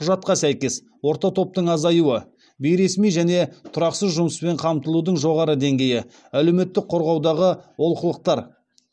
құжатқа сәйкес орта топтың азайуы бейресми және тұрақсыз жұмыспен қамтылудың жоғары деңгейі әлеуметтік қорғаудағы олқылықтар